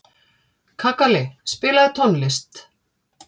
Kakali, spilaðu tónlist.